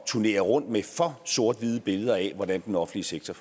turnere rundt med for sort hvide billeder af hvordan den offentlige sektor